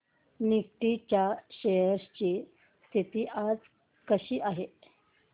Nifty च्या shares ची स्थिती आज कशी आहे